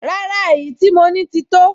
Rárá, èyí tí mo ní ti tó